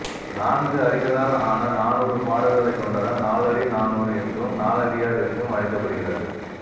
நான்கு அடிகளால் ஆன நானூறு பாடல்களை கொண்டதால் நாலடி நானூறு என்றும் நாலடியார் என்றும் அழைக்கப்படுகிறது